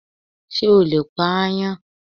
Ṣé o lè pa aáyán.?